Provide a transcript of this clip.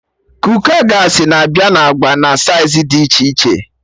Kooka gaasị na-abịa na agba na saiz dị iche iche